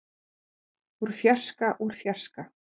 úr fjarska úr fjarska.